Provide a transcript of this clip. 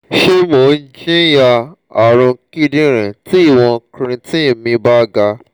se mo jinya arun kidirin ti iwon creatine mi ba ga?